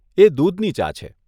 એ દૂધની ચા છે.